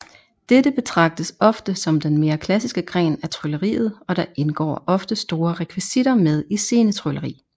Dette betragtes ofte som den mere klassiske gren af trylleriet og der indgår ofte store rekvisitter med i scenetrylleri